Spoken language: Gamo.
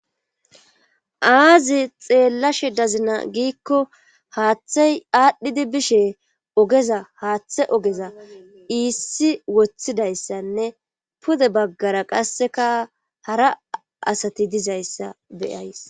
Aazi xeellashe dazina giikko haaththey aadhdhidi bishe ogeza haaththe ogeza iissi woththidayssanne pude baggara qasseka hara asati dizayssa beyays.